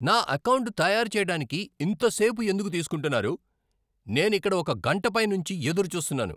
నా ఎకౌంటు తయారు చేయడానికి ఇంత సేపు ఎందుకు తీస్కుంటున్నారు? నేనిక్కడ ఒక గంట పై నుంచి ఎదురుచూస్తున్నాను!